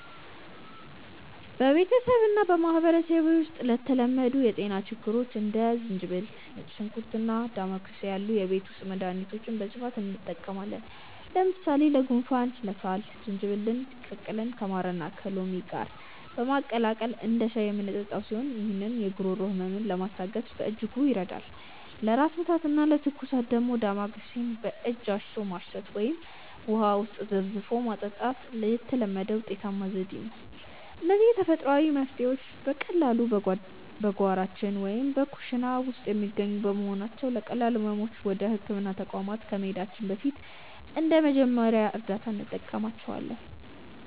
በቤተሰቤና በማኅበረሰቤ ውስጥ ለተለመዱ የጤና ችግሮች እንደ ዝንጅብል፣ ነጭ ሽንኩርትና ዳማከሴ ያሉ የቤት ውስጥ መድኃኒቶችን በስፋት እንጠቀማለን። ለምሳሌ ለጉንፋንና ለሳል ዝንጅብልን ቀቅለን ከማርና ከሎሚ ጋር በማቀላቀል እንደ ሻይ የምንጠጣው ሲሆን፣ ይህም የጉሮሮ ሕመምን ለማስታገስ በእጅጉ ይረዳል። ለራስ ምታትና ለትኩሳት ደግሞ ዳማከሴን በእጅ አሽቶ ማሽተት ወይም ውሃ ውስጥ ዘፍዝፎ መጠጣት የተለመደና ውጤታማ ዘዴ ነው። እነዚህ ተፈጥሯዊ መፍትሔዎች በቀላሉ በጓሯችን ወይም በኩሽና ውስጥ የሚገኙ በመሆናቸው፣ ለቀላል ሕመሞች ወደ ሕክምና ተቋም ከመሄዳችን በፊት እንደ መጀመሪያ እርዳታ እንጠቀምባቸዋለን።